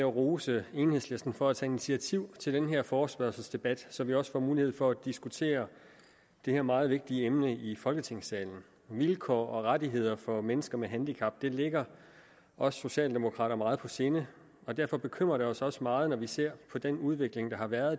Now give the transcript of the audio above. at rose enhedslisten for at tage initiativ til den her forespørgselsdebat så vi også får mulighed for at diskutere det her meget vigtige emne i folketingssalen vilkår og rettigheder for mennesker med handicap ligger os socialdemokrater meget på sinde og derfor bekymrer det os også meget når vi ser på den udvikling der har været